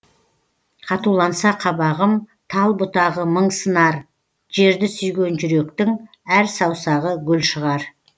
қатуланса қабағым тал бұтағы мың сынар жерді сүйген жүректің әр саусағы гүл шығар